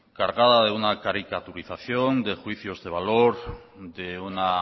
cargada de una caricaturización de juicios de valor de una